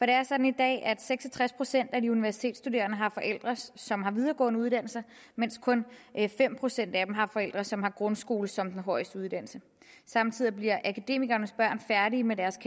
det er sådan i dag at seks og tres procent af de universitetsstuderende har forældre som har en videregående uddannelse mens kun fem procent af dem har forældre som har grundskole som den højeste uddannelse samtidig bliver akademikernes børn færdige med deres